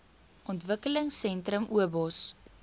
ontwikkelingsentrums obos